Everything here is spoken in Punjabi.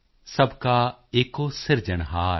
ਸਭ ਕਾ ਏਕੋ ਸਿਰਜਨਹਾਰ